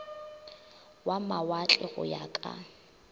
wa mawatle go ya ka